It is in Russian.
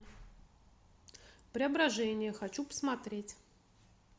преображение хочу посмотреть